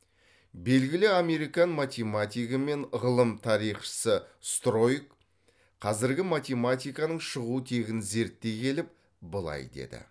белгілі американ математигі мен ғылым тарихшысы стройк қазіргі математиканың шығу тегін зерттей келіп былай деді